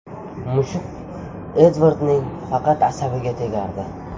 Mushuk Edvardning faqat asabiga tegardi.